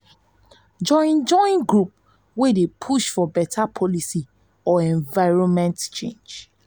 join join group wey dey push for beta policy or environment change